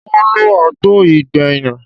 Mo lọ agbo gbẹ̀yìn